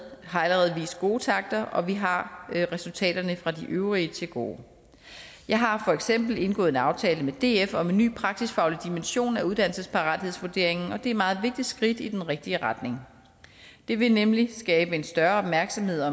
har allerede vist gode takter og vi har resultaterne fra de øvrige til gode jeg har for eksempel indgået en aftale med df om en ny praksisfaglig dimension af uddannelsesparathedsvurderingen og det er et meget vigtigt skridt i den rigtige retning det vil nemlig skabe en større opmærksomhed